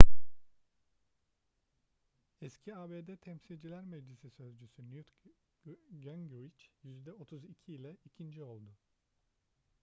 eski abd temsilciler meclisi sözcüsü newt gingrich yüzde 32 ile ikinci oldu